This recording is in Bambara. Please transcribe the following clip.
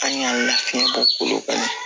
An y'an lafiya bɔli kɔnɔ